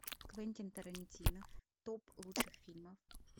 квентин тарантино топ лучших фильмов